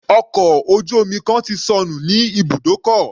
Ọkọ̀ ojú omi kan ti sọnù ní ibùdókọ̀.